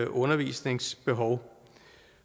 undervisningsbehov